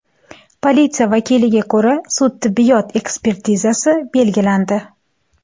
Politsiya vakiliga ko‘ra, sud-tibbiyot ekspertizasi belgilandi.